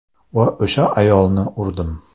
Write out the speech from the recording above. Va o‘sha ayolni urdim.